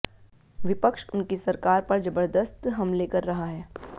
विपक्ष उनकी सरकार पर जबर्दस्त हमले कर रहा है